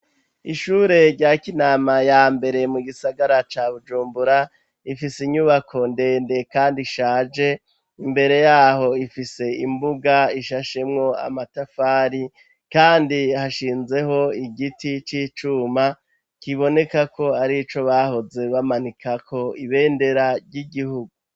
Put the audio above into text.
Ishure rya Kinama ya mbere mu gisagara ca Bujumbura ifise inyubako ndende kandi ishaje imbere yaho ifise imbuga ishashemwo amatafari kandi hashinzeho igiti c'icuma kiboneka ko ari ico bahoze bamanikako ibendera ry'igihugu.